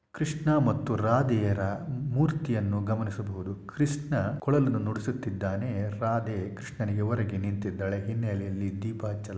ಕೃಷ್ಣ ಮತ್ತು ರಾಧೆಯರ ಮೂರ್ತಿ ಯನ್ನು ಗಮನಿಸಬಹುದು ಕೃಷ್ಣ ಕೊಳಲನ್ನು ನುಡಿಸುತ್ತಿದ್ದಾನೆ ರಾಧೆ ಕೃಷ್ಣನಿಗೆ ಒರಗಿ ನಿಂತಿದ್ದಾಳೆ ಹಿನ್ನೆಲೆಯಲ್ಲಿ ದೀಪ ಹಚ್ಚಲಾಗಿದೆ --